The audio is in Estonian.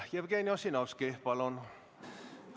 Jevgeni Ossinovski, palun!